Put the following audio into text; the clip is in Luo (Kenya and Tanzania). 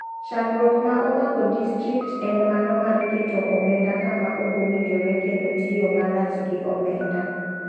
Chandruok ma omako distrikt en maro mar keto omenda kama okowinjore kendo tiyo marach gi omenda.